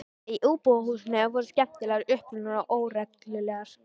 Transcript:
Íbúðarhúsin voru skemmtilega upprunaleg og óregluleg.